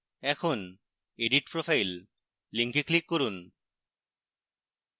এখন edit profile link click করুন